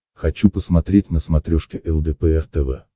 хочу посмотреть на смотрешке лдпр тв